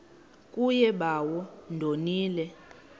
kuye bawo ndonile